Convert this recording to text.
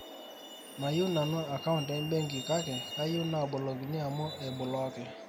mayieu nanu account e benki kake kayieu naabolokini amu eiblokee